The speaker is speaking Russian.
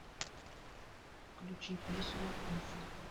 включи песню иф